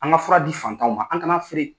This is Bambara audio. An ka fura di fantanw ma an ka na feere.